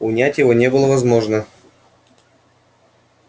унять его не было возможно